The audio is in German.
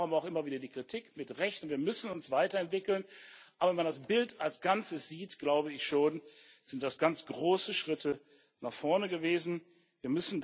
Darum auch immer wieder die Kritik zu Recht und wir müssen uns weiterentwickeln, aber wenn man das Bild als Ganzes sieht, glaube ich schon, dass das ganz große Schritte nach vorne gewesen sind.